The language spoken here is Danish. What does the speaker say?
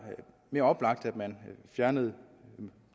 mere oplagt at man fjernede